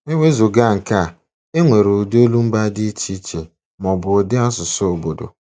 E wezụga nke a, e nwere ụdị olumba dị iche iche, ma ọ bụ ụdị asụsụ obodo.